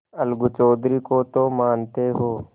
अलगू चौधरी को तो मानते हो